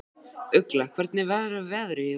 Ugla, hvernig verður veðrið á morgun?